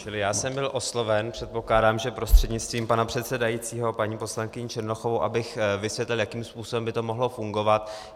Čili já jsem byl osloven, předpokládám, že prostřednictvím pana předsedajícího, paní poslankyní Černochovou, abych vysvětlil, jakým způsobem by to mohlo fungovat.